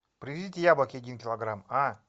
привезите яблоки один килограмм а